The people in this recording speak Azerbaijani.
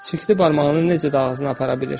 Çirkli barmağını necə də ağzına apara bilir!